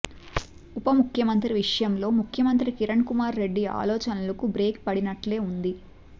ఉప ముఖ్యమంత్రి విషయంలో ముఖ్యమంత్రి కిరణ్ కుమార్ రెడ్డి ఆలోచనలకు బ్రేక్ పడినట్లే ఉంది